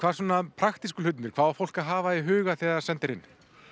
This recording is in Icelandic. praktísku hlutirnir hvað á fólk að hafa í huga þegar það sendir inn